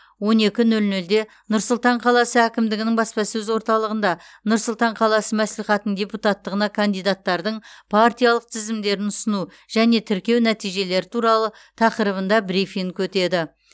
он екі нөл нөлде нұр сұлтан қаласы әкімдігінің баспасөз орталығында нұр сұлтан қаласы мәслихатының депутаттығына кандидаттардың партиялық тізімдерін ұсыну және тіркеу нәтижелері туралы тақырыбында брифинг өтеді